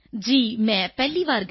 ਜੀ ਮੈਂ ਪਹਿਲੀ ਵਾਰ ਗਈ ਸੀ